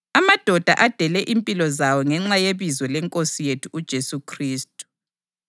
amadoda adele impilo zawo ngenxa yebizo leNkosi yethu uJesu Khristu.